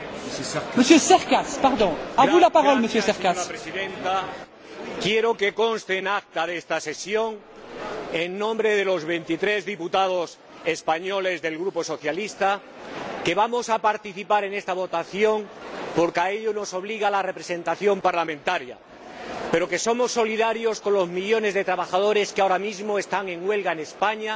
Señora Presidenta, quiero que conste en el Acta de esta sesión, en nombre de los 23 diputados españoles del Grupo Socialista, que vamos a participar en esta votación porque a ello nos obliga la representación parlamentaria, pero que somos solidarios con los millones de trabajadores que ahora mismo están en huelga en España,